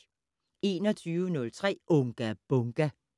21:03: Unga Bunga!